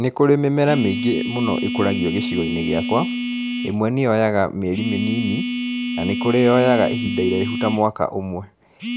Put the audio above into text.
Nĩ kũrĩ mĩmera mĩĩngĩ mũno ĩkũragio gĩcigo-inĩ gĩakwa, ĩmwe nĩ yoyaga mĩeri mĩnini, na nĩ kũrĩ yoyaga ihinda iraihu ta mwaka ũmwe.